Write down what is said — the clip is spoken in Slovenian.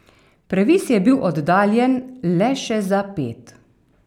Previs je bil oddaljen le še za ped.